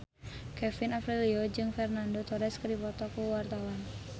Kevin Aprilio jeung Fernando Torres keur dipoto ku wartawan